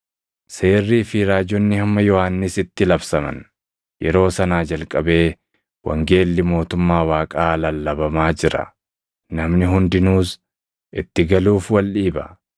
“Seerrii fi raajonni hamma Yohannisitti labsaman. Yeroo sanaa jalqabee wangeelli mootummaa Waaqaa lallabamaa jira; namni hundinuus itti galuuf wal dhiiba.